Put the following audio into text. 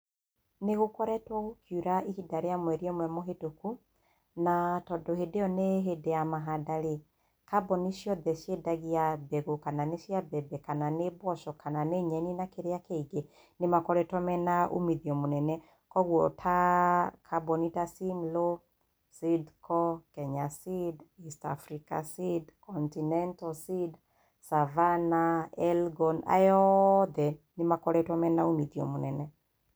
Nĩ gũkoretwo gũkiura ihinda rĩa mweri ũmwe mũhĩtũku, na tondũ hĩndĩ ĩyo nĩ hĩndĩ ya mahanda rĩ, kambuni ciothe ciendagia mbegũ, kana nĩ cia mbembe, kana nĩ mboco, kana nĩ nyeni na kĩrĩa kĩngĩ, nĩ makoretwo mena umithio mũnene. Kwoguo ta, kambuni ta Simlaw, SEEDCO, KENYA SEED, EAST AFRICA SEED, Continental Seed, Savannah, ELGON. Aya othe nĩ makoretwo mena umithio mũnene.